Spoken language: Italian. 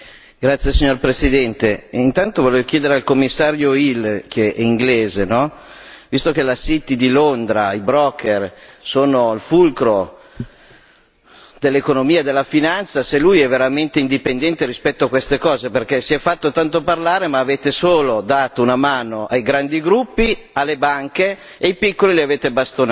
Signora Presidente, onorevoli colleghi, vorrei chiedere al Commissario Hill, che è inglese, visto che la City di Londra, i broker sono il fulcro dell'economia e della finanza, se lui è veramente indipendente rispetto a queste cose perché si è fatto tanto parlare, ma avete solo dato una mano ai grandi gruppi, alle banche e i piccoli li avete bastonati.